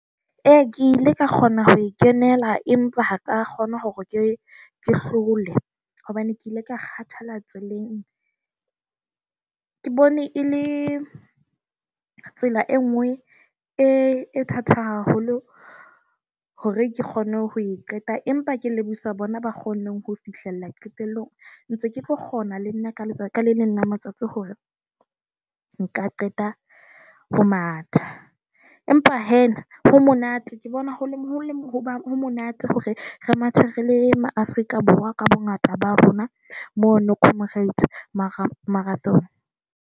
E, ke ile ka kgona ho kenela, empa ha ka kgona hore ke hlole hobane ke ile ka kgathala tseleng. Ke bone e le tsela e nngwe e thata haholo hore ke kgone ho e qeta, empa ke lebohisa bona ba kgonneng ho fihlella qetellong. Ntse ke tlo kgona le nna ka letsatsi le le nna matsatsi hore nka qeta ho matha. Empa hee ho monate, ke bona ho le monate hore re mathe re le ma-Afrika Borwa ka bongata ba rona. Mo Now comrades marathon.